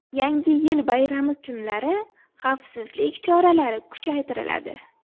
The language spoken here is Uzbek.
Yangi yil bayrami kunlari xavfsizlik choralari kuchaytiriladi.